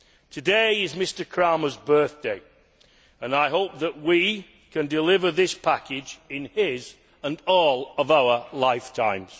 Today is Mr Cramer's birthday, and I hope that we can deliver this package in his and all of our lifetimes!